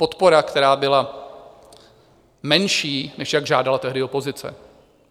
Podpora, která byla menší, než jak žádala tehdy opozice.